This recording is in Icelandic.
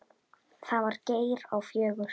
Það var Geir á fjögur.